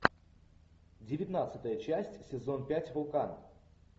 девятнадцатая часть сезон пять вулкан